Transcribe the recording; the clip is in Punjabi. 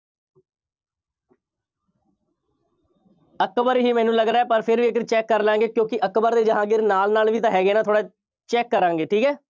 ਅਕਬਰ ਹੀ ਮੈਨੂੰ ਲੱਗ ਰਿਹਾ ਪਰ ਫਿਰ ਵੀ ਇੱਕ ਵਾਰੀ check ਕਰਲਾਂਗੇ ਕਿਉਂਕਿ ਅਕਬਰ ਅਤੇ ਜਹਾਂਗੀਰ ਨਾਲ ਨਾਲ ਵੀ ਤਾਂ ਹੈਗੇ ਨਾ, ਥੋੜ੍ਹਾ check ਕਰਾਂਗੇ, ਠੀਕ ਹੈ।